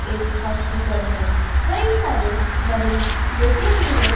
इस हॉस्पिटल में कई सारे मरीज लेटे हुए--